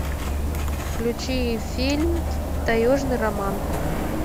включи фильм таежный роман